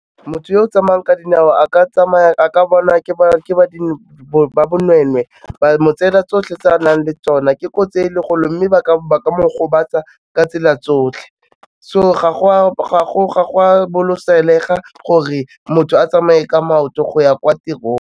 Motho o o tsamayang ka dinao a ka bona ba bonweenwee ba mo tsela tsotlhe tse a nang le tsona, ke kotsi e kgolo mme ba ka mo gobatsa ka tsela tsotlhe so ga go a gore motho a tsamaye ka maoto go ya kwa tirong.